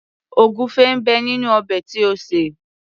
Ògúnfẹ ń bẹ nínú ọbẹ̀ tí o sè.